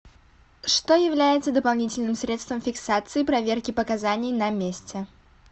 что является дополнительным средством фиксации проверки показаний на месте